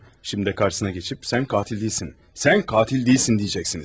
Şimdi də karşısına keçip "sən katil değilsin, sən katil değilsin" diyəcəksiniz.